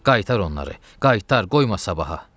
Qaytar onları, qaytar, qoyma sabaha.